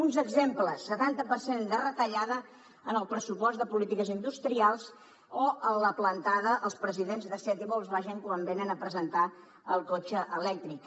uns exemples setanta per cent de retallada en el pressupost de polítiques industrials o la plantada als presidents de seat i volkswagen quan venen a presentar el cotxe elèctric